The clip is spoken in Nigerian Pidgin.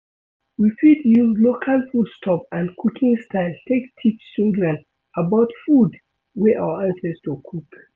we fit use local food stuff and cooking style take teach children about food wey our ancestor cook